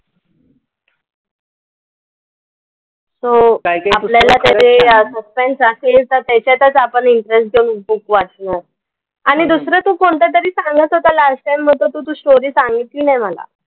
तो आपल्याला त्याच्यात suspense असेल तर त्याच्यातच आपण interest घेऊन आपण book वाचतो. आणि दुसरं तू कोणतं तरी सांगत होता, last time मग तू तो story सांगितली नाही मला.